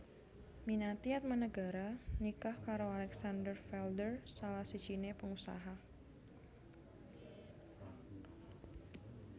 Minati Atmanegara nikah karo Alexander Felder salah sijine pengusaha